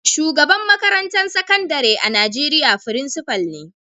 Shugaban makarantan sakandare a'Nijeriya frincipa ne.